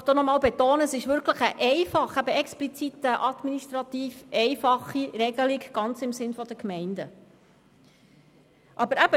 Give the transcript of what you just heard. Ich möchte noch einmal betonen, dass explizit eine einfache administrative Regelung im Sinne der Gemeinden gewählt wurde.